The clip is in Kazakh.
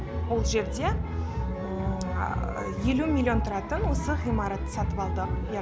ол жерде елу миллион тұратын осы ғимаратты сатып алдық